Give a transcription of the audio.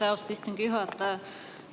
Aitäh, austatud istungi juhataja!